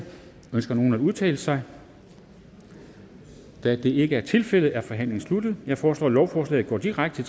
ønsker nogen at udtale sig da det ikke er tilfældet er forhandlingen sluttet jeg foreslår at lovforslaget går direkte